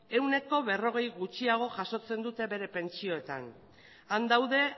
ehuneko berrogei gutxiago jasotzen dute euren pentsioetan han daude